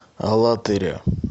алатыря